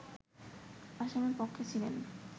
আসামি পক্ষে ছিলেন